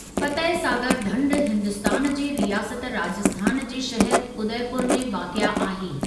फ़तह सागर ढंढ हिन्दुस्तान जे रियासत राजस्थान जे शहर उदयपुर में वाक़िआ आहे।